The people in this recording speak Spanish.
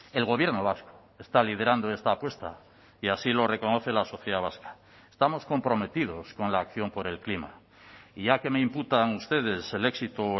el gobierno vasco está liderando esta apuesta y así lo reconoce la sociedad vasca estamos comprometidos con la acción por el clima y ya que me imputan ustedes el éxito o